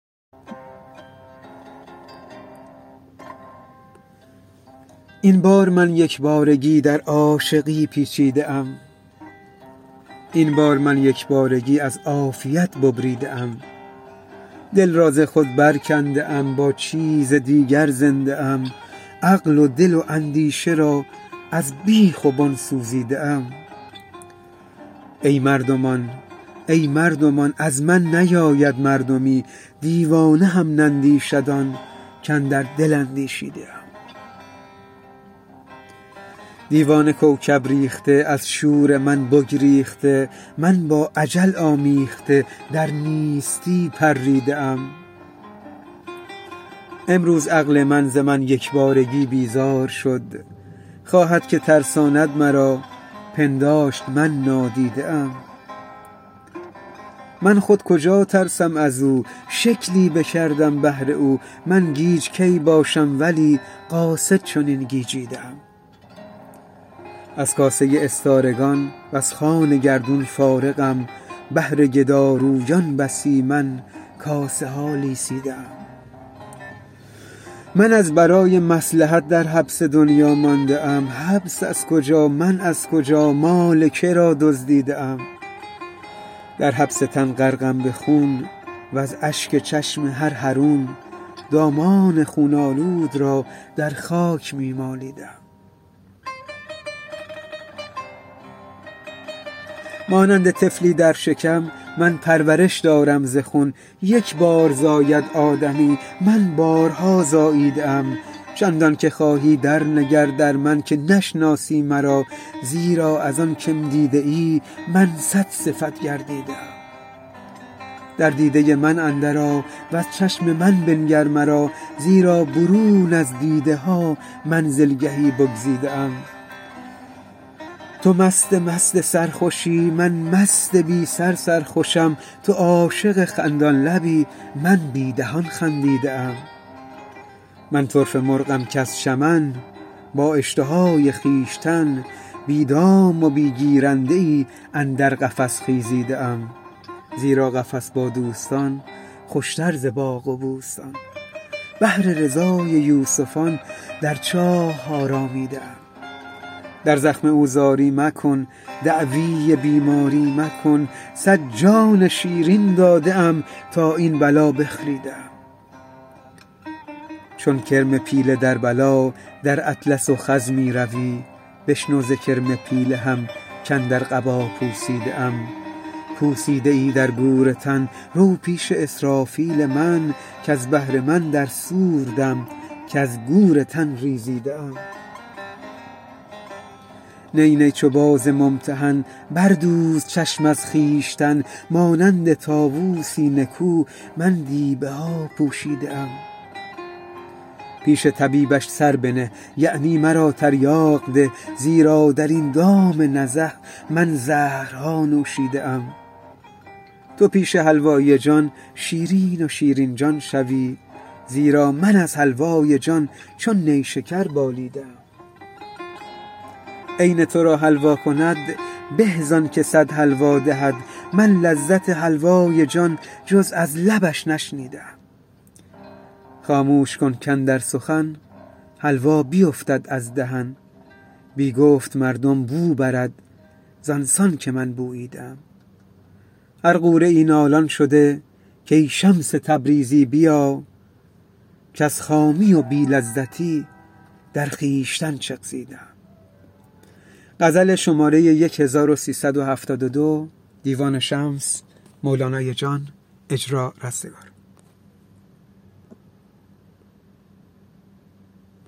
این بار من یک بارگی در عاشقی پیچیده ام این بار من یک بارگی از عافیت ببریده ام دل را ز خود برکنده ام با چیز دیگر زنده ام عقل و دل و اندیشه را از بیخ و بن سوزیده ام ای مردمان ای مردمان از من نیاید مردمی دیوانه هم نندیشد آن کاندر دل اندیشیده ام دیوانه کوکب ریخته از شور من بگریخته من با اجل آمیخته در نیستی پریده ام امروز عقل من ز من یک بارگی بیزار شد خواهد که ترساند مرا پنداشت من نادیده ام من خود کجا ترسم از او شکلی بکردم بهر او من گیج کی باشم ولی قاصد چنین گیجیده ام از کاسه استارگان وز خوان گردون فارغم بهر گدارویان بسی من کاسه ها لیسیده ام من از برای مصلحت در حبس دنیا مانده ام حبس از کجا من از کجا مال که را دزدیده ام در حبس تن غرقم به خون وز اشک چشم هر حرون دامان خون آلود را در خاک می مالیده ام مانند طفلی در شکم من پرورش دارم ز خون یک بار زاید آدمی من بارها زاییده ام چندانک خواهی درنگر در من که نشناسی مرا زیرا از آن که م دیده ای من صدصفت گردیده ام در دیده من اندرآ وز چشم من بنگر مرا زیرا برون از دیده ها منزلگهی بگزیده ام تو مست مست سرخوشی من مست بی سر سرخوشم تو عاشق خندان لبی من بی دهان خندیده ام من طرفه مرغم کز چمن با اشتهای خویشتن بی دام و بی گیرنده ای اندر قفس خیزیده ام زیرا قفس با دوستان خوشتر ز باغ و بوستان بهر رضای یوسفان در چاه آرامیده ام در زخم او زاری مکن دعوی بیماری مکن صد جان شیرین داده ام تا این بلا بخریده ام چون کرم پیله در بلا در اطلس و خز می روی بشنو ز کرم پیله هم کاندر قبا پوسیده ام پوسیده ای در گور تن رو پیش اسرافیل من کز بهر من در صور دم کز گور تن ریزیده ام نی نی چو باز ممتحن بردوز چشم از خویشتن مانند طاووسی نکو من دیبه ها پوشیده ام پیش طبیبش سر بنه یعنی مرا تریاق ده زیرا در این دام نزه من زهرها نوشیده ام تو پیش حلوایی جان شیرین و شیرین جان شوی زیرا من از حلوای جان چون نیشکر بالیده ام عین تو را حلوا کند به زانک صد حلوا دهد من لذت حلوای جان جز از لبش نشنیده ام خاموش کن کاندر سخن حلوا بیفتد از دهن بی گفت مردم بو برد زان سان که من بوییده ام هر غوره ای نالان شده کای شمس تبریزی بیا کز خامی و بی لذتی در خویشتن چغزیده ام